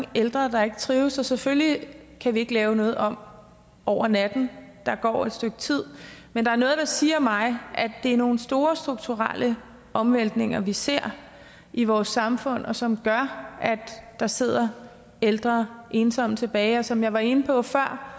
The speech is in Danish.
ældre der ikke trives selvfølgelig kan vi ikke lave noget om over natten der går et stykke tid men der er noget der siger mig at det er nogle store strukturelle omvæltninger vi ser i vores samfund som gør at der sidder ældre ensomme tilbage som jeg var inde på før